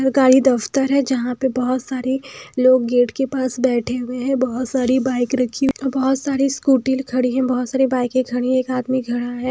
सरकारी दफ्तर है जहाँ पे बहुत सारी लोग गेट के पास बैठे हुए हैं बहुत सारी बाइक रखी हुई और बहुत सारी स्कूटी खड़ी हैं बहुत सारी बाइकें खड़ी हैं एक आदमी खड़ा है।